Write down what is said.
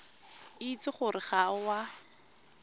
itse gore ga o a